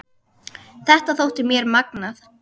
Þetta þótti mér magnað.